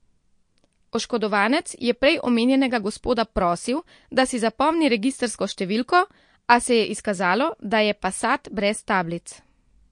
Oškodovanec je prej omenjenega gospoda prosil, da si zapomni registrsko številko, a se je izkazalo, da je passat brez tablic.